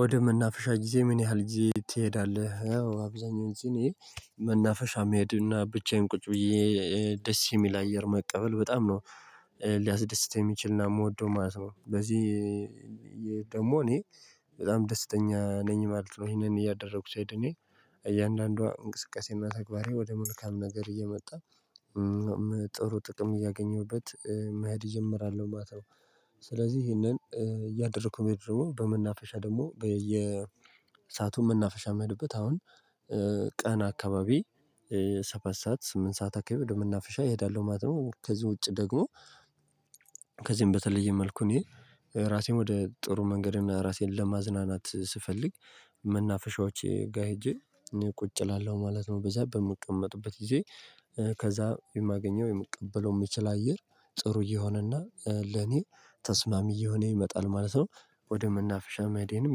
ወደ መናፈሻ ጊዜ ምን ያህል ጊዜ ትሄዳለህ? አዎ አብዛኛውን ጊዜ እኔ መናፈሻ መሄድና ብቻዬን ቁጭ ብዬ ደስ የሚል አየር መቀበል በጣም ነው ሊያስደስተኝ የሚችልና የምወደው ማለት ነው። በዚህ ደግሞ እኔ በጣም ደስተኛ ነኝ ማለት ነው ይሄንን እያደረኩ ሲሄድ እኔ እያንዳንዷ እንቅስቃሴና ተግባሬ ወደ መልካም ነገር እየመጣ ጥሩ ጥቅም እያገኘሁበት መሄድ እጀምራለሁ ነው። ማተው ስለዚህ ይሄንን እያደረኩ መሄዱ ደግሞ በመናገሻ ደግሞ በየሰአቱ መናፈሻ የምሄድበት አሁን ቀን አካባቢ ሰባት ሰዓት ስምንት ሰዓት አካባቢ ወደመናፍሻ እሄዳለሁ ማለት ነው። ከዚህ ውጪ ደግሞ ከዚህም በተለየ መልኩ እኔ ራሴን ወደ ጥሩ መንገድ እና ራሴን ለማዝናናት ስፈልግ መናፈሻዎች ጋር ሄጄ እኔ ቁጭ እላለሁ ማለት ነው። በዛ በምቀመጥበት ጊዜ ከዛ የማገኘው የምቀበለው የምችል አየር ጥሩ እየሆነና ለኔ ተስማሚ እየሆነ ይመጣል ማለት ነው። ወደ መናፍሻ መዴንም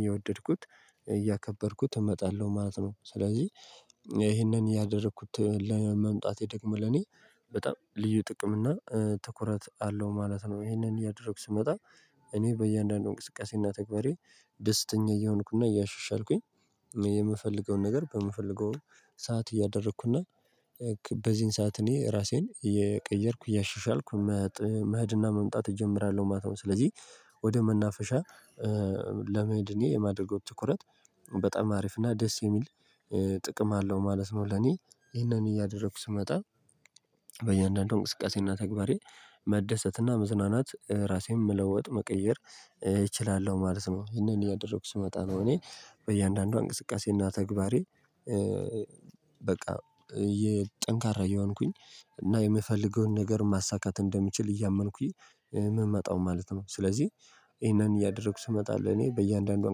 እየወደድኩት እያከበርኩት እመጣለሁ ማለት ነው። ስለዚህ እሄንን እያደረኩት መምጣቴ ደግሞ ለኔ በጣም ልዩ ጥቅም እና ትኩረት አለው ማለት ነው። እሄንን እያደረኩ ስመጣ እኔ በእያንዳንዱ እንቅስቃሴና ተግባሬ ደስተኛ እየሆንኩና እያሻሻልኩኝ የምፈልገውን ነገር በምፈልገው ሰዓት እያደረኩና በዚህን ሰዓት እኔ ራሴን የቀየርኩ እያሻሻልኩ መህድና መምጣት እጀምራለሁ ማታውን። ስለዚህ ወደ መናፈሻ ለመሄድ እኔ የማደርገው ትኩረት በጣም አሪፍ እና ደስ የሚል ጥቅም አለው ማለት ነው። ለኔ ይህንን እያደረኩ ስመጣ በየአንዳንዱ እንቅስቃሴና ተግባሬ መደሰትና መዝናናት ራሴን መለወጥ መቀየር እችላለሁ ማለት ነው። ይሄንን እያደረኩ ስመጣ ነው እኔ በእያንዳንዷ እንቅስቃሴና ተግባሬ በቃ ጠንካራ እየሆንኩኝ እና የምፈልገውን ነገር ማሳካት እንደምችል እያመንኩኝ የምመጣው ማለት ነው። ስለዚህ ይሄንን እያደረኩ ስመጣ ለእኔ በእያንዳንዷ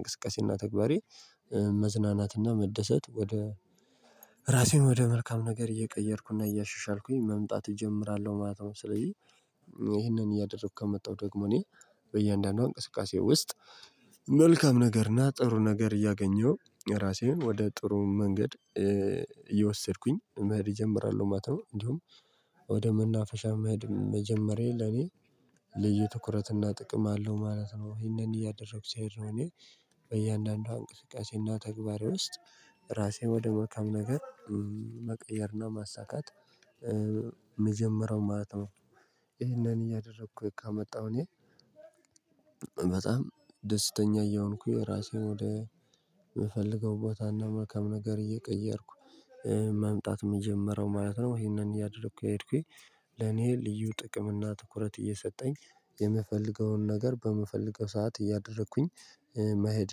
እንቅስቃሴና ተግባሬ መዝናናትና መደሰት ወደ ራሴን ወደ መልካም ነገር እየቀየርኩና እያሸሻልኩኝ መምጣት እጀምራለሁ ማለት ነው። ስለዚህ እሄንን እያደረኩ ከመጣሁ ደግሞ እኔ በእያንዳንዷ እንቅስቃሴ ውስጥ መልካም ነገርና ጥሩ ነገር እያገኘሁ ራሴን ወደ ጥሩ መንገድ እየወሰድኩኝ መሄድ ይጀምራለሁ ማለት ነው። እንዲሁም ወደ መናፈሻ መሄድ መጀመሬ ለኔ ልዩ ትኩረትና ጥቅም አለው ማለት ነው። እሄንን እያደረኩ ሲሄድ ነው ለእኔ በእያንዳንዷ እንቅስቃሴና ተግባሬ ውስጥ ራሴን ወደ መልካም ነገር መቀየርና ማሳካት የምጀምሮ ማለት ነው። እሄንን እያደረኩ ከመጣሁ እኔ በጣም ደስተኛ እያሆንኩኝ ራሴን ወደ የምፈልገው ቦታና መልካም ነገር እየቀየርኩ መምጣት የምጀምረው ማለት ነው። ይሄንን እያደረኩ እየሄድኩኝ ለኔ ልዩ ጥቅም እና ትኩረት እየሰጠኝ የምፈልገውን ነገር በምፈልገው ሰዓት እያደረኩኝ መሄድ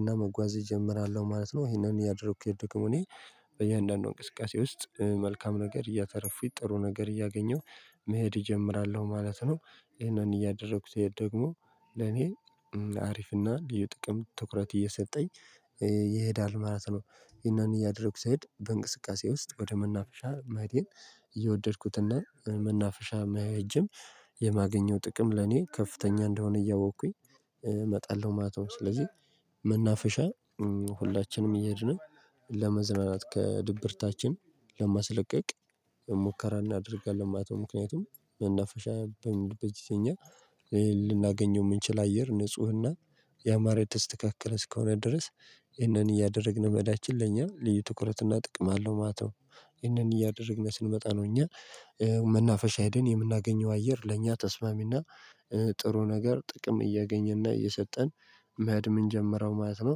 እና መጓዝ እጀምራለሁ ማለት ነው። ይሄንን እያደረኩኝ ደግሞ እኔ በእያንዳንዱ እንቅስቃሴ ውስጥ መልካም ነገር እያተረፉኩኝ ጥሩ ነገር እያገኘሁ መሄድ እጀምራለሁ ማለት ነው። ይሄንን እያደረኩት ይሄድ ደግሞ ለኔ አሪፍና ልዩ ጥቅም ትኩረት እየሰጠኝ ይሄዳል ማለት ነው። እሄንን እያደረኩ ስሄድ በእንቅስቃሴ ውስጥ ወደ መናፈሻ ማህዴን እየወደድኩትና መናፈሻ በመሄድ የማገኘው ጥቅም ለኔ ከፍተኛ እንደሆነ እያወቅኩኝ እመጣለሁ ማለት ነው። ስለዚህ መናፍሻ ሁላችንም እያድን ለመዝናናት ከድብርታችን ለማስለቀቅ ሙከራ እናደርጋለን ማለት ነው። ምክንያቱም መናፈሻ በምንሄድበት ለኛ ልናገኘው የምንችል አየር ንፁህና የአማረ የተስተካከለ እስከሆነ ድረስ ይህንን እያደረግን መሄዳችን ለኛ ልዩ ትኩረትና ጥቅም አለው ማለት ነው። ይህንን እያደረግን ስንመጣ ነው እኛ መናፈሻ ሄደን የምናገኘው አየር ለእኛ ተስማሚና ጥሩ ነገር ጥቅም እያገኘና እየሰጠን መሄድ የምንጀምረው ማለት ነው።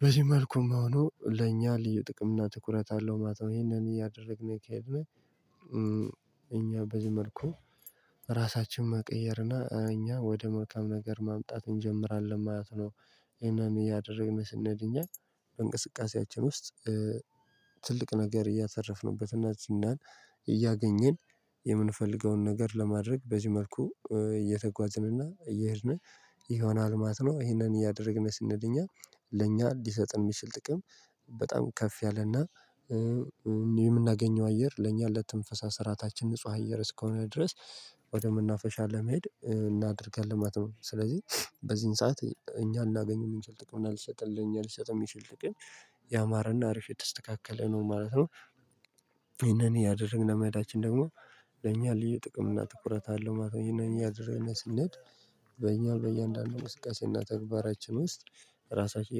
በዚህ መልኩም ሆኖ ለእኛ ልዩ ጥቅም እና ትኩረት አለው ማለት ነው። እሄንን እያደረግን ከሄድን እኛ በዚህ መልኩ ራሳችንን መቀየርና እኛ ወደ መልካም ነገር ማምጣት እንጀምራለን ማለት ነው። እሄንን እያደረግን ስንሄድ እኛ በእንቅስቃሴያችን ውስጥ ትልቅ ነገር እያሰረፍንበት እና ዝናን እያገኘን የምንፈልገውን ነገር ለማድረግ በዚህ መልኩ እየተጓዝንና እየሄድን ይሆናል ማለት ነው። ይሄንን እያደረግን ስንሄድ እኛ ለእኛ ሊሰጥን የሚችል ጥቅም በጣም ከፍ ያለና የምናገኘው አየር ለኛ ለትንፈሳ ስረዓታችን ንጹህ አየር እስከሆነ ድረስ ወደምናፈሻ ለመሄድ እናደርጋለን ማለት ነው። ስለዚህ በዚህን ሰዓት እኛ ልናገኝም የሚሰጥህ ጥቅም አልሰጥልህም የሚሰጥህ ጥቅም ያማረና አርፍ የተስተካከለ ነው ማለት ነው። እሄንን እያደረግን መህዳችን ደግሞ ለኛ ልዩ ጥቅም እና ትኩረት አለው ማለት ነው። እሄንን እያደረግን ስንሄድ በእኛ በእያንዳንዱ እንቅስቃሴ እና ተግባራችን ውስጥ ራሳችን